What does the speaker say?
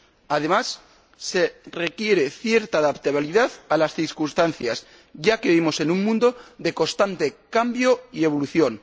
Además, se requiere cierta adaptabilidad a las circunstancias ya que vivimos en un mundo de constante cambio y evolución.